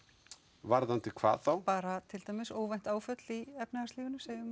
varðandi hvað þá bara til dæmis óvænt áföll í efnahagslífinu segjum